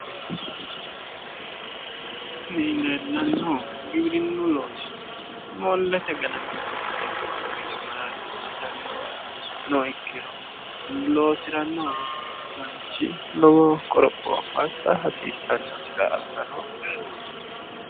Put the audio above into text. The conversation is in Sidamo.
kuni leellanohu giwirinnu loosi moollete ganaminoha ikkasi lowo gede mararsitsnnoha ikkiroi loosiranno manchi lowo qoropho assa hasiissannosi agarooshsheho